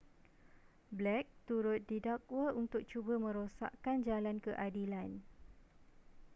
blake turut didakwa untuk cuba merosakkan jalan keadilan